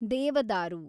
ದೇವದಾರು